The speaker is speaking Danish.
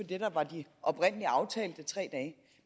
det der var de oprindelig aftalte tre